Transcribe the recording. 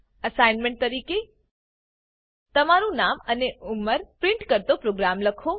assignment તરીકે તમારું નામ અને ઉંમર પ્રિન્ટ કરતો પ્રોગ્રામ લખો